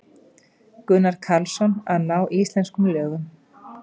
Gunnar Karlsson: Að ná íslenskum lögum.